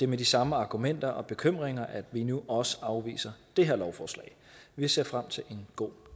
med de samme argumenter og bekymringer vi nu også afviser det her lovforslag vi ser frem til en god